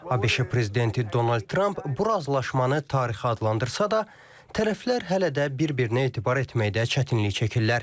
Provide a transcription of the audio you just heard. ABŞ prezidenti Donald Trump bu razılaşmanı tarixi adlandırsa da, tərəflər hələ də bir-birinə etibar etməkdə çətinlik çəkirlər.